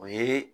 O ye